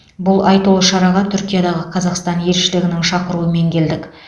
бұл айтулы шараға түркиядағы қазақстан елшілігінің шақыруымен келдік